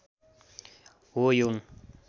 हो यौन